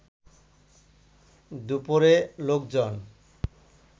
দুপরে লোকজন